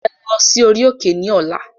Ẹ lọ sí orí òkè ní ọ̀la.